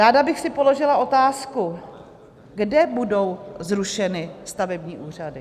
Ráda bych si položila otázku, kde budou zrušeny stavební úřady.